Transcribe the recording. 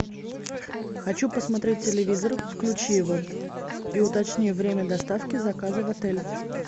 хочу посмотреть телевизор включи его и уточни время доставки заказа в отель